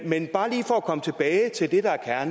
men bare lige for at komme tilbage til det der er